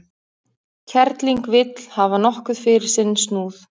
Kerling vill hafa nokkuð fyrir sinn snúð.